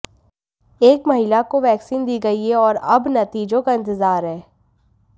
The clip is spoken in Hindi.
एक महिला को वैक्सीन दी गई है और अब नतीजों का इंतजार है